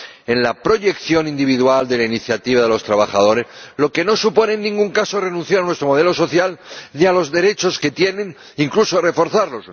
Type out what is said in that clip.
en la proyección individual de la iniciativa de los trabajadores, lo que no supone, en ningún caso, renunciar a nuestro modelo social ni a los derechos que tienen, incluso reforzarlos.